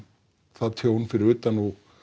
það tjón fyrir utan